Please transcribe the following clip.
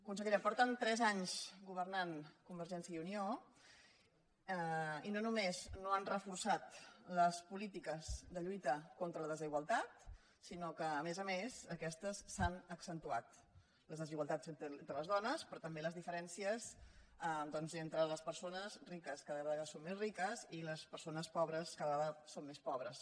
consellera fa tres anys que governen convergència i unió i no només no han reforçat les polítiques de lluita contra la desigualtat sinó que a més a més aquestes s’han accentuat les desigualtats entre les dones però també les diferències doncs entre les persones riques que cada vegada són més riques i les persones pobres que cada vegada són més pobres